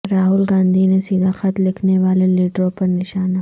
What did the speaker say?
راہل گاندھی نے سیدھا خط لکھنے والے لیڈروں پر نشانہ